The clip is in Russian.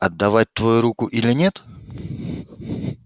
отдавать твою руку или нет